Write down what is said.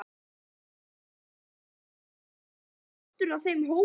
Hugsaði Sindri sér aldrei að vera partur af þeim hópi?